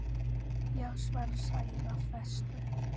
Já, svarar Sæunn af festu.